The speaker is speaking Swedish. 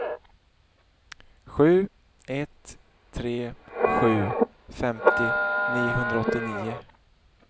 sju ett tre sju femtio niohundraåttionio